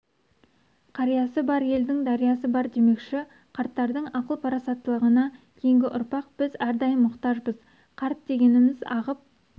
қариясы бар елдің дариясы бар демекші қарттардың ақыл-парасаттылығына кейінгі ұрпақ біз әрдайым мұқтажбыз қарт дегеніміз ағып